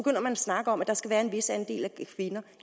man at snakke om at der skal være en vis andel af kvinder